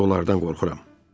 Mən onlardan qorxuram.